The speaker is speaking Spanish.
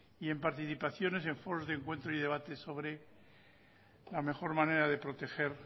y en participaciones en foros de encuentro y debate sobre la mejor manera de proteger